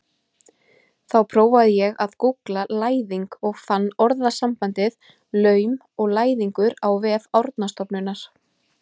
Þá prófaði ég að gúggla læðing og fann orðasambandið laum og læðingur á vef Árnastofnunar.